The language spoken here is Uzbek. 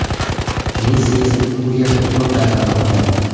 Messi esa u yerda ko‘p narsani o‘rganibdi.